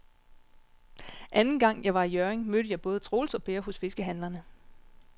Anden gang jeg var i Hjørring, mødte jeg både Troels og Per hos fiskehandlerne.